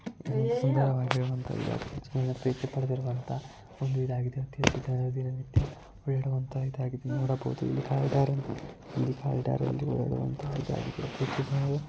ಸುಂದರ ವಾಗಿ ಇರುವಂತ ಪ್ರಸಿದ್ದಿ ಪಡೆದಿರುವಂತ ಒಂದು ಇದು ಆಗಿದೆ. ಇದು ದಿನ ನಿತ್ಯ ಅಲ್ಲಿ ಬರುವಂತ ಬೇಡುವಂತ ಇದು ಆಗಿದೆ ನೋಡಬಹುದು ಕಾಲಿಡರ ಒಂದು ಬರುವಂತ--